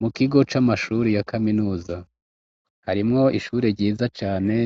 mu kigo c'amashuri ya kaminuza harimwo ishure ryiza cane